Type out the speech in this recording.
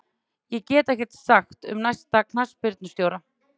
Ég get ekkert sagt um næsta knattspyrnustjóra.